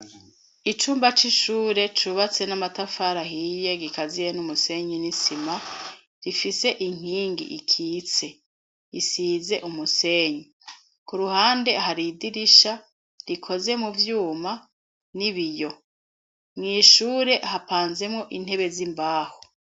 Icumba c'ishure cubatse n'amatafari ahiye gikaziye n'umusenyi n'isima, rifise inkingi ikitse isize umusenyi ku ruhande. Hari idirisha rikoze mu vyuma n'ibiyo mw' ishure hapanzemo intebe z'imbaho.